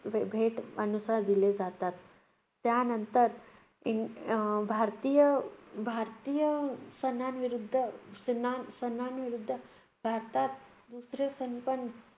भेट आणि दिले जातात. त्यानंतर अं भारतीय भारतीय सणांविरुद्ध सणां सणांविरुद्ध भारतात दुसरे सणपण